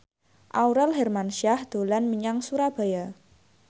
Aurel Hermansyah dolan menyang Surabaya